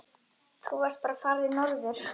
Þá varstu bara farinn norður.